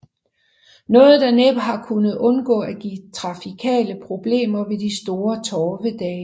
Noget der næppe har kunnet undgå at give trafikale problemer ved de store torvedage